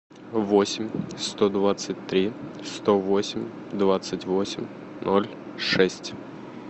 восемь сто двадцать три сто восемь двадцать восемь ноль шесть